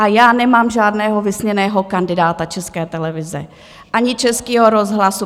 A já nemám žádného vysněného kandidáta České televize ani Českého rozhlasu...